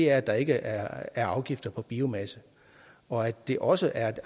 er at der ikke er afgifter på biomasse og at det også er